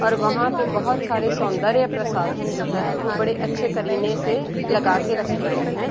और वहाँ पे बहुत सारे सौंदर्य प्रसाधन जो है वो बड़े अच्छे करीने से लगाके रखे गए हैं |